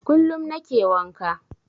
Kullum nake wanka.